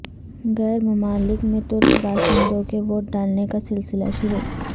غیر ممالک میں ترک باشندوں کے ووٹ ڈالنے کا سلسلہ شروع